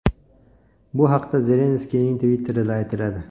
Bu haqda Zelenskiyning Twitter’ida aytiladi .